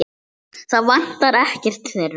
Það vantar ekkert þeirra.